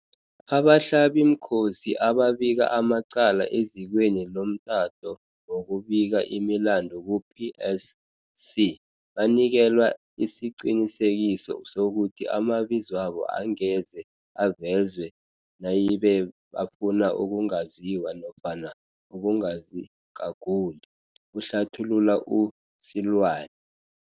Abahlabimkhosi ababika amacala ezikweni lomtato wokubika imilandu ku-PSC banikelwa isiqinisekiso sokuthi amabizwabo angeze avezwe nayibe bafuna ukungaziwa nofana ukungazigaguli, kuhlathulula u-Seloane.